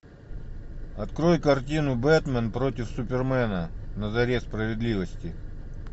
открой картину бэтмен против супермена на заре справедливости